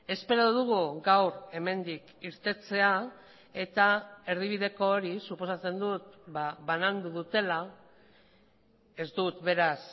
espero dugu gaur hemendik irtetea eta erdibideko hori suposatzen dut banandu dutela ez dut beraz